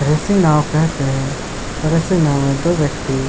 ऐसी नाव केहते है और ऐसी नाव में दो व्यक्ति --